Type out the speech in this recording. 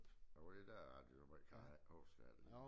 Ja var det der at jeg så måj kan jeg ikke huske af alt det der